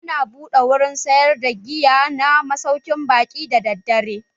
Ana buɗe wurin sayar da giya na masaukin baƙi da daddare.